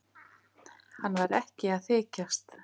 Hann var ekki að þykjast.